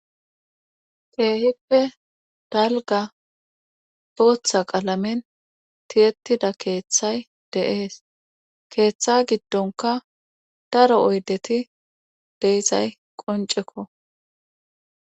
keehippe dalga bootha qalamen tiyettida keeththay dees keeththa giddonka daro oyddeti de'izaysati qoncekko